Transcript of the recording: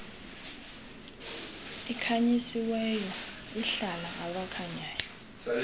ikhanyisiweyo ihlala abakhanyayo